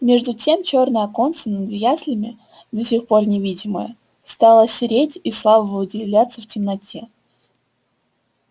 между тем чёрное оконце над яслями до сих пор невидимое стало сереть и слабо выделяться в темноте